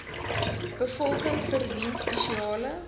bevolking verdien spesiale